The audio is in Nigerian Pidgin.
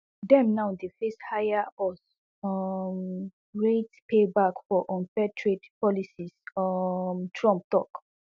dem now dey face higher us um rates payback for unfair trade policies um trump tok